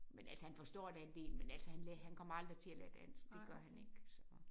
Men altså han forstår da en del men altså han han kommer aldrig til at lære dansk det gør han ikke så